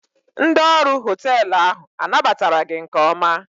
Ndị ọrụ họteelụ ahụ anabatara gị nke ọma?